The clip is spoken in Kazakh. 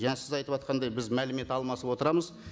жаңа сіз айтыватқандай біз мәлімет алмасып отырамыз